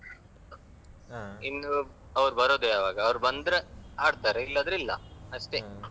ಇನ್ನು ಅವರು ಬರುದು ಯಾವಾಗ ಅವರು ಬಂದ್ರೆ ಆಡ್ತಾರೆ ಇಲ್ಲಾದ್ರೆ ಇಲ್ಲಾ ಅಷ್ಟೇ.